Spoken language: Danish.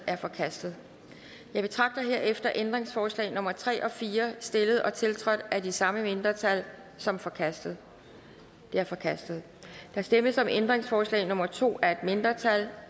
er forkastet jeg betragter herefter ændringsforslag nummer tre og fire stillet og tiltrådt af det samme mindretal som forkastet det er forkastet der stemmes om ændringsforslag nummer to af et mindretal